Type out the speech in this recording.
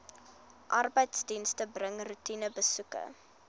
arbeidsdienste bring roetinebesoeke